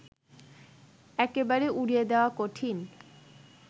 একেবারে উড়িয়ে দেওয়া কঠিন